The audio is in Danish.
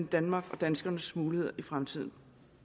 danmark og danskernes muligheder i fremtiden